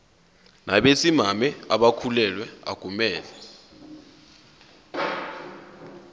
nabesimame abakhulelwe akumele